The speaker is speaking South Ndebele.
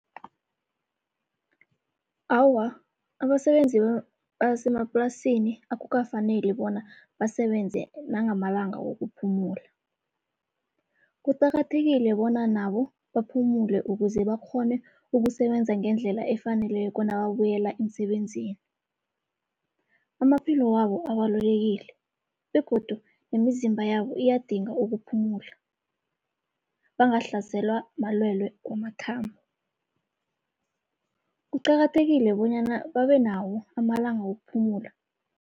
Awa, abasebenzi basemaplasini akukafaneli bona basebenze nangamalanga wokuphumula. Kuqakathekile bona nabo baphumule ukuze bakghone ukusebenza ngendlela efaneleko nababuyela emsebenzini. Amaphilo wabo abalulekile begodu nemizimba yabo iyadinga ukuphumula, bangahlaselwa malwele wamathambo. Kuqakathekile bonyana babe nawo amalanga wokuphumula.